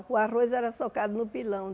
O arroz era socado no pilão.